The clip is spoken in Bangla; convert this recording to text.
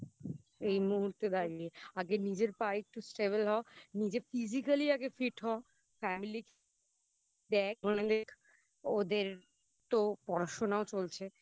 এই মুহূর্তে দাঁড়িয়ে. আগে নিজের পায়ে একটু Stable হ নিজে Physically আগে Fit হ Family দেখ. ওদের তো পড়াশোনাও চলছে